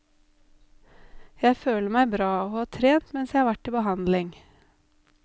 Jeg føler meg bra og har trent mens jeg har vært til behandling.